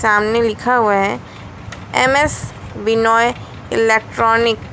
सामने लिखा हुआ है एम_एस विनाय इलेक्ट्रॉनिक ।